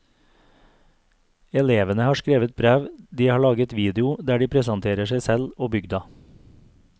Elevene har skrevet brev, de har laget video der de presenterer seg selv og bygda.